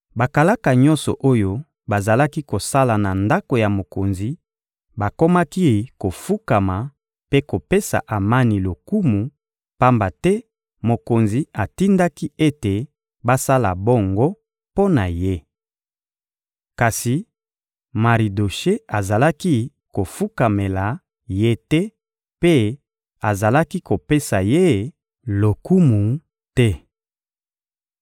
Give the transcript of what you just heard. Bakalaka nyonso oyo bazalaki kosala na ndako ya mokonzi bakomaki kofukama mpe kopesa Amani lokumu, pamba te mokonzi atindaki ete basala bongo mpo na ye. Kasi Maridoshe azalaki kofukamela ye te mpe azalaki kopesa ye lokumu te.